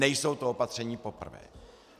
Nejsou to opatření poprvé.